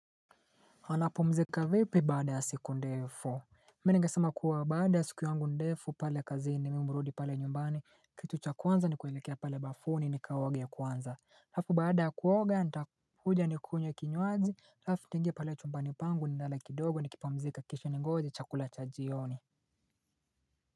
Anapo mzika vipi baada ya siku ndefu Meni ngesama kuwa baada ya siku yangu ndefu pale kazini mimurudi pale nyumbani kitu cha kwanza ni kuelekea pale bafuni ni kaoge kwanza alafu baada ya kuoga nitakuja nikunywe kinywaji alafu tuingie pale ya chumbani pangu ni lale kidogo nikipumzika kisha ningoje chakula cha jioni.